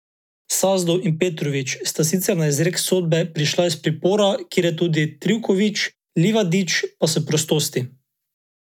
Sazdov in Petrović sta sicer na izrek sodbe prišla iz pripora, kjer je tudi Trivković, Livadić pa s prostosti.